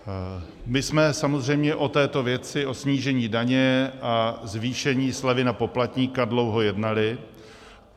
My jsme samozřejmě o této věci, o snížení daně a zvýšení slevy na poplatníka, dlouho jednali.